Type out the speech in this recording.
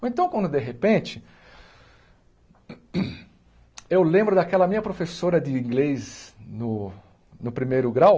Ou então, quando de repente, eu lembro daquela minha professora de inglês no no primeiro grau,